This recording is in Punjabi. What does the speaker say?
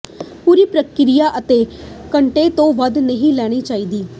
ਪੂਰੀ ਪ੍ਰਕ੍ਰਿਆ ਅੱਧੇ ਘੰਟੇ ਤੋਂ ਵੱਧ ਨਹੀਂ ਲੈਣੀ ਚਾਹੀਦੀ